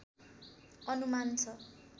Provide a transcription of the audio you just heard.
अनुमान छ